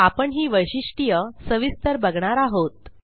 आपण ही वैशिष्ट्ये सविस्तर बघणार आहोत